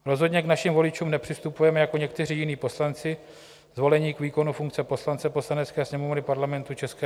Rozhodně k našim voličům nepřistupujeme jako někteří jiní poslanci zvolení k výkonu funkce poslance Poslanecké sněmovny Parlamentu ČR.